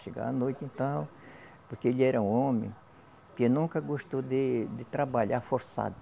Chegava à noite, então. Porque ele era um homem que nunca gostou de de trabalhar forçado.